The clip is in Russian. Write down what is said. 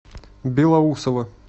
белоусово